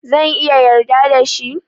Zan iya yarda da shi?